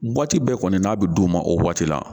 bɛɛ kɔni n'a bɛ d'u ma o waati la.